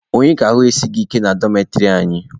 Onye ka ahụ esighi ike na dọmetịrị anyị?